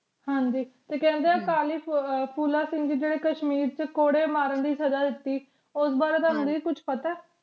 ਹਾਂਜੀ ਤੇ ਕਹਿੰਦੇ ਅਕਾਲੀ ਫੂਲਾ ਸਿੰਘ ਜੀ ਜੇਦੇ ਕਸ਼ਮੀਰ ਕੌੜੇ ਮਾਰਨ ਸਜ਼ਾ ਦਿਤੀ ਉਸ ਬਾਰੇ ਦੀ ਤੁਹਾਨੂੰ ਕੁਛ ਪਤਾ